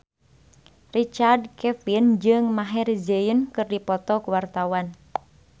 Richard Kevin jeung Maher Zein keur dipoto ku wartawan